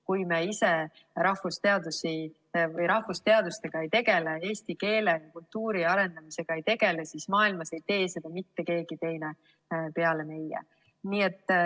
Kui me ise rahvusteadustega ei tegele, eesti keele ja kultuuri arendamisega ei tegele, siis maailmas ei tee seda ka mitte keegi teine peale meie.